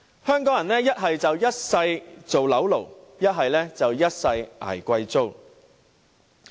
香港人要麼"一世當'樓奴'"，要麼"一世捱貴租"。